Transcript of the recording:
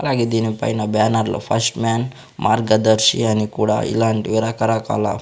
అలాగే దీనిపైన బ్యానర్ లో ఫస్ట్ మాన్ మార్గదర్శి అని కూడా ఇలాంటివి రకరకాల--